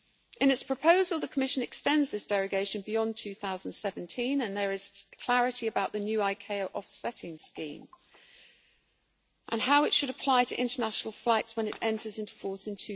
In its proposal, the Commission extends this derogation beyond 2017 and there is clarity about the new ICAO offsetting scheme and how it should apply to international flights when it enters into force in